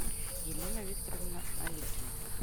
елена викторовна аликина